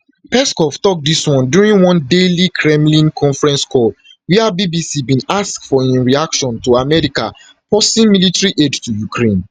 peskov tok dis one during one daily kremlin conference call wia bbc bin ask for im reaction to america pausing military aid to ukraine